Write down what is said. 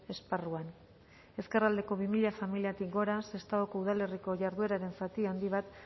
esparruan ezkerraldeko bi mila familiatik gora sestaoko udalerriko jardueraren zati handi bat